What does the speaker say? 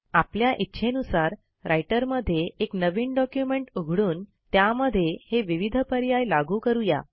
आपल्या इच्छेनुसार रायटरमध्ये एक नवीन डॉक्युमेंट उघडून त्यामध्ये हे विविध पर्याय लागू करू या